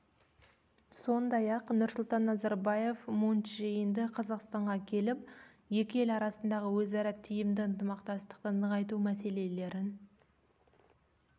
сондай-ақ нұрсұлтан назарбаев мун чже инді қазақстанға келіп екі ел арасындағы өзара тиімді ынтымақтастықты нығайту мәселелерін